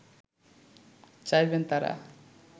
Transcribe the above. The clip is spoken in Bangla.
চাইবেন তারা